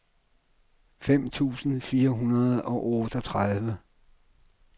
fem tusind fire hundrede og otteogtredive